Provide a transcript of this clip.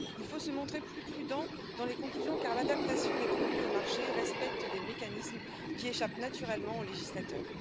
Il faut se montrer plus prudent dans les conclusions, car l'adaptation des produits au marché respecte des mécanismes qui échappent naturellement aux législateurs.